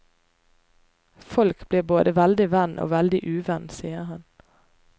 Folk blir både veldig venn og veldig uvenn, sier han.